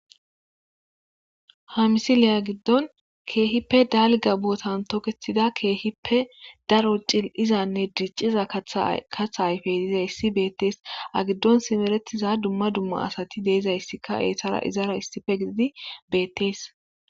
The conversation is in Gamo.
Hamisileya giddon keehippe dalga bootan tokethida keehippe daro cil7izanne dicciza tkatha ayfey diizayssi beettees agiddon simeretiza dumma dumma asati deezayssika eetara izara issife gididi beettees.